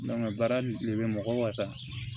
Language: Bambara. baara de bɛ mɔgɔ wasa